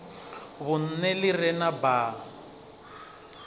vhunṋe ḽi re na baa